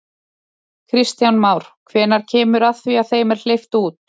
Kristján Már: Hvenær kemur að því að þeim er hleypt út?